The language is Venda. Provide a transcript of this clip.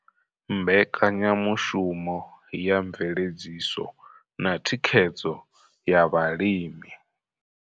Mbekanyamushumo ya mveledziso na thikhedzo ya vhalimi.